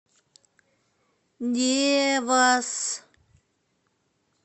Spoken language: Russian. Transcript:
девас